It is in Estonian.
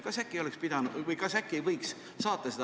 Kas äkki võiks saata selle ettepaneku neile?